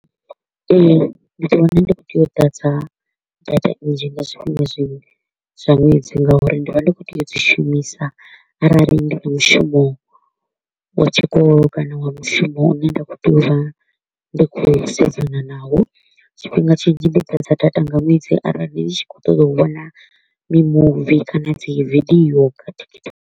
Ee, ndi ḓi wana ndi kho u tea u ḓadza data nzhi nga zwiṅwe zwi zwa ṅwedzi nga uri ndi vha ndi kho u tea u dzi shumisa arali ndi na mushumo wa tshikolo kana wa mushumo u ne nda kho u tea u vha ndi kho u sedzana naho. Tshifhinga tshinzhi ndi fhedza data nga ṅwedzi arali ni tshi kho u ṱoḓa u vhona mimuvi kana dzi video kha TikTok.